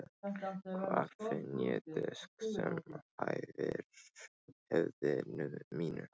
Hvar finn ég disk sem hæfir höfði mínu?